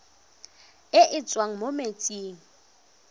e e tswang mo metsing